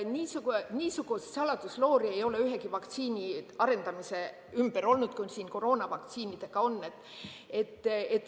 Niisugust saladusloori ei ole ühegi vaktsiini arendamise ümber olnud, kui siin koroonavaktsiinidega on.